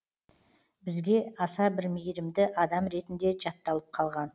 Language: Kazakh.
бізге аса бір мейірімді адам ретінде жатталып қалған